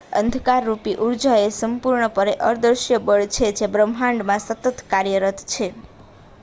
અંધકારરૂપી ઊર્જા એ સંપૂર્ણપણે અદૃશ્ય બળ છે જે બ્રહ્માંડમાં સતત કાર્યરત છે